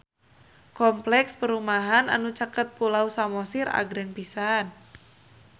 Kompleks perumahan anu caket Pulau Samosir agreng pisan